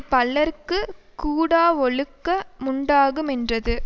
பலர்க்குக் கூடாவொழுக்க முண்டாகு மென்றது